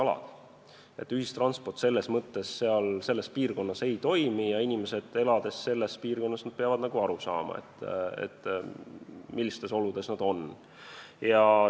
Mõnes piirkonnas lihtsalt ühistransport ei toimi ja inimesed peavad aru saama, millistes oludes nad elavad.